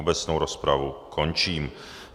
Obecnou rozpravu končím.